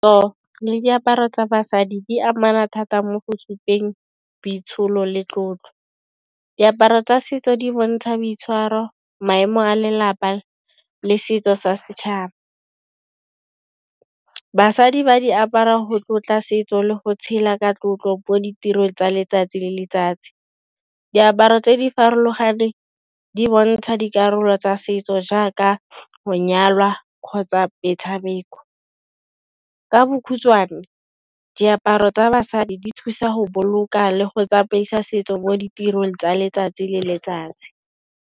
Go le diaparo tsa basadi di amana thata mo go supeng boitsholo le tlotlo, diaparo tsa setso di bontsha boitshwaro maemo a lelapa le setso sa setšhaba. Basadi ba di apara go tlotla setso le go tshela ka tlotlo mo ditirong tsa letsatsi le letsatsi, diaparo tse di farologaneng di bontsha dikarolo tsa setso jaaka go nyalwa kgotsa metshameko. Ka bokgutswane diaparo tsa basadi di thusa go boloka le go tsamaisa setso mo ditirong tsa letsatsi le letsatsi.